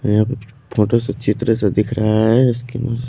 यहां पे फोटो सा चित्र सा दिख रहा है।